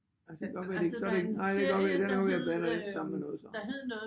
Altså det kan godt være det ikke så det ikke nej det kan godt være der er noget jeg blander lidt sammen med noget så